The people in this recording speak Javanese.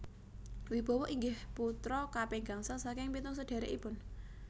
Wibowo inggih putra kaping gangsal saking pitung sedhèrèkipun